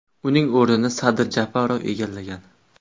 Uning o‘rnini Sadir Japarov egallagan .